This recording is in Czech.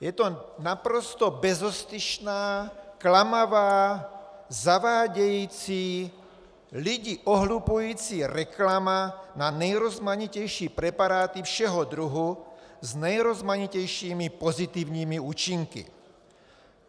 Je to naprosto bezostyšná, klamavá, zavádějící, lidi ohlupující reklama na nejrozmanitější preparáty všeho druhu s nejrozmanitějšími pozitivními účinky.